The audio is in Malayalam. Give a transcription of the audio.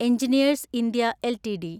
engineers India LTD